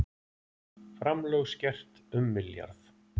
Framlög skert um milljarð